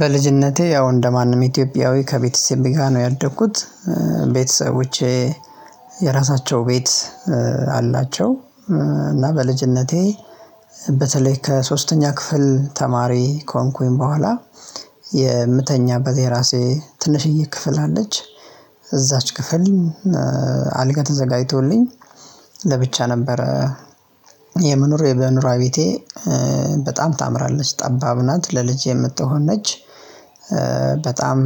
በልጅነቴ ያው እንደማንም ኢትዮጵያዊ ከቤተሰቤ ጋር ነው ያደግኩት። ቤተሰቦቼ የራሳቸው ቤት አላቸው። እና በልጅነቴ በተለይ ከሶስተኛ ክፍል ተማሪ ከሆንኩኝ በኋላ። የምተኛበት የራሴ ትንሽዬ ክፍል አለች እዛች ክፍል አልጋ ተዘጋጅቶልኝ ለብቻ ነበር። የመኖር የመኖርያ ቤቴ በጣም ታምራለች ጠባብ ናት ለልጅ የምትሆን ነች። በጣም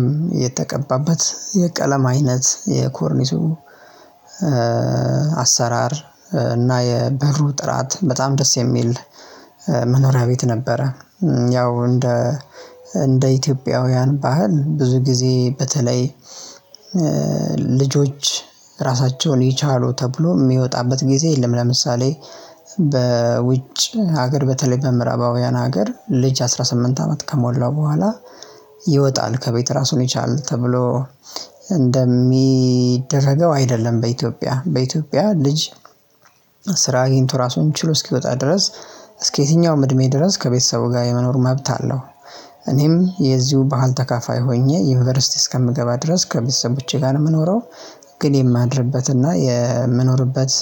የተቀባበት የቀለም አይነት የኮርኒሱ አሰራር እና የበሩ ጥራት በጣም ደስ የሚል መኖሪያ ቤት ነበረ። ያው እንደ እንደ ኢትዮጵያውያን ባህል ብዙ ጊዜ በተለይ ልጆች ራሳቸውን ይቻሉ ተብሎ ሚወጣበት ጊዜ የለም። ለምሳሌ በውጭ ሀገር በተለይ በምዕራባውያን ሀገር ልጅ አስራ ስምንት አመት ከሞላው በኋላ ይወጣል ከቤት ራሱን ይቻላል ተብሎ እንደሚደረገው አይደለም። በኢትዮጵያ በኢትዮጵያ ልጅ ስራ አግኝቶ ራሱን ችሎ እስኪወጣ ድረስ እስከ የትኛውም እድሜ ድረስ ከቤተሰቡ ጋር የመኖር መብት አለው። እኔም የዚሁ ባህል ተካፋይ ሆኜ ዩኒቨርሲቲ እስከምገባ ድረስ ከቤተሰቦቼ ጋር ነው ምኖረው። ግን የማድርበት እና የምኖርበት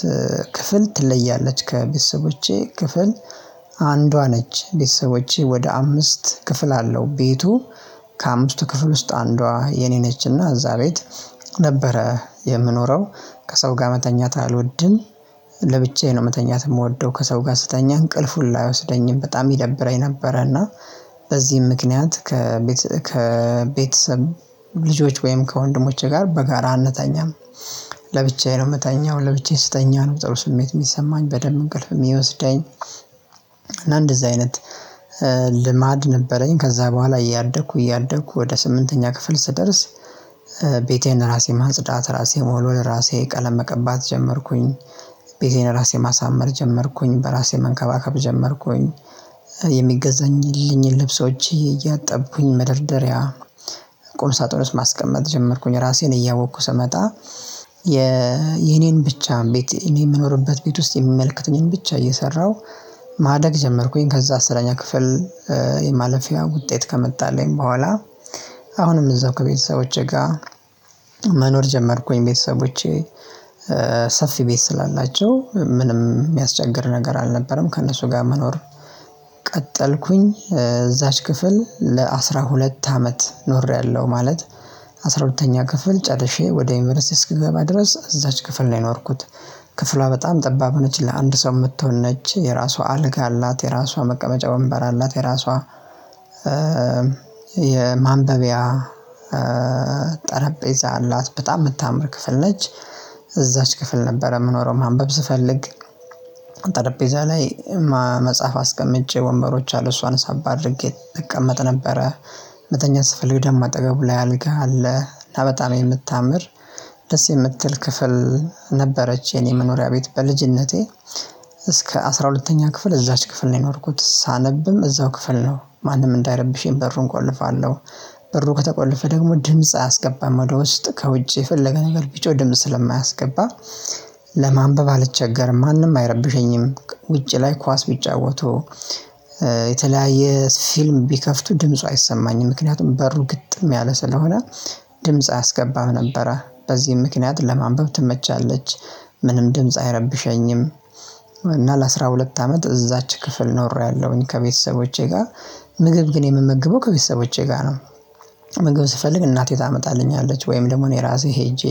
ክፍል ትለያለች ከቤተሰቦቼ ክፍል አንዷ ነች። ቤተሰቦቼ ወደ አምስት ክፍል አለው ቤቱ ከአምስቱ ክፍል ውስጥ አንዷ የኔ ነችና እዛ ቤት ነበረ የምኖረው። ከሰው ጋር መተኛት አልወድም ለብቻዬ ነው መተኛት ምወደው ከሰው ጋር ስተኛ እንቅልፍ ሁላ አይወስደኝም በጣም ይደብረኝ ነበረ። እና በዚህም ምክንያት ከቤት ከቤተሰብ ልጆች ወይም ከወንድሞቼ ጋር በጋራ አንተኛም። ለብቻዬ ነው ምተኛው ለብቻዬ ስተኛ ነው ጥሩ ስሜት የሚሰማኝ በደንብ እንቅልፍ ሚወስደኝ። እና እንደዚህ አይነት ልማድ ነበረኝ። ከዛ በኋላ እያደኩ እያደኩ ወደ ስምንተኛ ክፍል ስደርስ ቤቴን ራሴ ማጽዳት ራሴ መወልወል ራሴ ቀለም መቀባት ጀመርኩኝ። ቤቴን ራሴ ማሳመር ጀመርኩኝ በራሴ መንከባከብ ጀመርኩኝ። የሚገዛኝልኝ ልብሶቼ እያጠብኩኝ መደርደሪያ ቁምሳጥን ውስጥ ማስቀመጥ ጀመርኩኝ ራሴን እያወቅኩ ስመጣ። የኔን ብቻ ቤት እኔ ምኖርበት ቤት ውስጥ የሚመልከትኝን ብቻ እየሰራሁ ማደግ ጀመርኩኝ። ከዛ አስረኛ ክፍል የማለፊያ ውጤት ከመጣልኝ በኋላ አሁንም እዛው ከቤተሰቦቼ ጋ መኖር ጀመርኩኝ። ቤተሰቦቼ ሰፊ ቤት ስላላቸው ምንም የሚያስቸግር ነገር አልነበረም ከእነሱ ጋር መኖር። ቀጠልኩኝ እዛች ክፍል ለአስራሁለት አመት ኖሬያለሁ ማለት አስራሁለተኛ ክፍል ጨርሼ ወደ ዩኒቨርሲቲ እስክገባ ድረስ እዛች ክፍል ነው የኖርኩት። ክፍሏ በጣም ጠባብ ሆነች ለአንድ ሰው የምትሆን ነች የራሷ አልጋ አላት የራሷ መቀመጫ ወንበር አላት የራሷ የማንበቢያ ጠረጴዛ አላት በጣም ምታምር ክፍል ነች። እዛች ክፍል ነበረ ምኖረው ማንበብ ስፈልግ ጠረጴዛ ላይ መጽሐፍ አስቀምጬ ወንበሮች አሉ እሷን ሳብ አድርጌ እቀመጥ ነበረ። መተኛ ስፈልግ ደሞ አጠገቡ ላይ አልጋ አለ ላበጣም የምታምር ደስ የምትል ክፍል ነበረች። የኔ መኖሪያ ቤት በልጅነቴ እስከ አስራ ሁለተኛ ክፍል እዛች ክፍል ነው የኖርኩት ሳነብም እዛው ክፍል ነው ማንም እንዳይረብሼኝ በሩን እቆልፋለሁ። በሩ ከተቆለፈ ደግሞ ድምጽ አያስገባም ወደ ውስጥ ከውጭ የፈለገ ነገር ቢጮህ ድምጽ ስለማያስገባ ለማንበብ አልቸገርም ማንም አይረብሸኝም። ውጪ ላይ ኳስ ቢጫወቱ የተለያየ ፊልም ቢከፍቱ ድምፁ አይሰማኝም ምክንያቱም በሩ ግጥም ያለ ስለሆነ። ድምጽ አያስገባም ነበረ በዚህም ምክንያት ለማንበብ ትመቻለች። ምንም ድምጽ አይረብሸኝም። እና ለአስራሁለት አመት እዛች ክፍል ኖሬያለሁኝ ከቤተሰቦቼ ጋር ምግብ ግን የምመግበው ከቤተሰቦቼ ጋር ነው። ምግብ ስፈልግ እናቴ ታመጣልኛለች ወይም ደግሞ እኔ ራሴ ሄጄ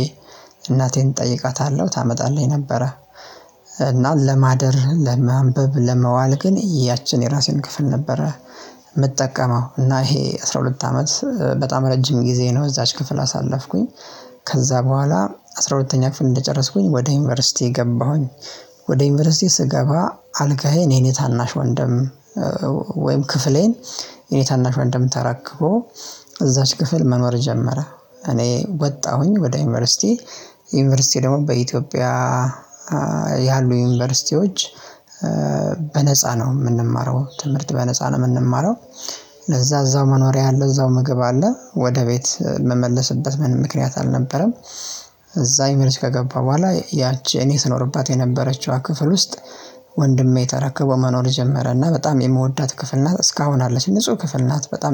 እናቴን እጠይቃታለሁ ታመጣልኝ ነበረ። እና ለማደር ለማንበብ ለመዋል ግን ያችን የራሴን ክፍል ነበረ። ምጠቀመው እና ይሄ አስራ ሁለት አመት በጣም ረጅም ጊዜ ነው እዛች ክፍል አሳለፍኩኝ። ከዛ በኋላ አስራ ሁለተኛ ክፍል እንደጨረስኩኝ ወደ ዩኒቨርሲቲ ገባሁኝ። ወደ ዩኒቨርሲቲ ስገባ አልጋዬ የኔ ታናሽ ወንድም ወይም ክፍሌን የኔ ታናሽ ወንድም ተረክቦ እዛች ክፍል መኖር ጀመረ። እኔ ወጣሁኝ ወደ ዩኒቨርሲቲ። ዩኒቨርሲቲ ደግሞ በኢትዮጵያ ያሉ ዩኒቨርሲቲዎች በነፃ ነው የምንማረው ትምህርት በነፃ ነው ምንማረው። ለዛ እዛው መኖሪያ አለ እዛው ምግብ አለ ወደ ቤት ምመለስበት ምንም ምክንያት አልነበረም። እዛ የኒቨርሲቲ ከገባው በኋላ ያቺ እኔ ስኖርባት የነበረችዋ ክፍል ውስጥ ወንድሜ ተረክቦ መኖር ጀመረ። እና በጣም የምወዳት ክፍል ናት። እስካሁን አለች ንጹህ ክፍል ናት በጣም